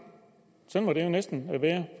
sådan må det jo næsten være